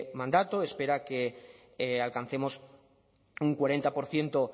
mandato espera que alcancemos un cuarenta por ciento